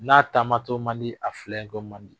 N'a taamato man di, a filɛɲɛnko man di.